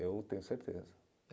Eu tenho certeza.